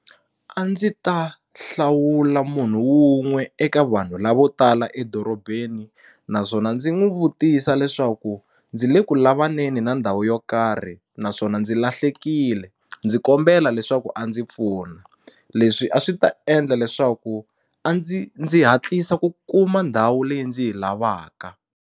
A ndzi ta hlawula munhu wun'we eka vanhu lavo tala edorobeni naswona ndzi n'wu vutisa leswaku ndzi le ku lavaneni na ndhawu yo karhi naswona ndzi lahlekile ndzi kombela leswaku a ndzi pfuna leswi a swi ta endla leswaku a ndzi ndzi hatlisa ku kuma ndhawu leyi ndzi yi lavaka.